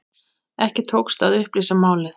Ekki tókst að upplýsa málið.